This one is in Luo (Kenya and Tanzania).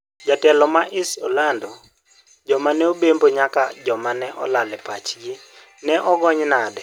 Jatelo ma IS olando 'Joma ne obembo nyako ma ne olal e pachgi' ne ogony - nade?